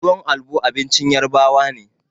Tuwon albo abincin Yarbawa ne.